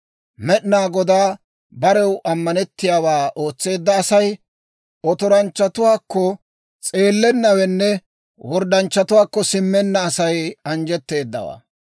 Med'inaa Godaa barew ammanettiyaawaa ootseedda asay, otoranchchatuwaakko s'eelennawenne, worddanchchatuwaakko simmenna Asay anjjetteeddawaa.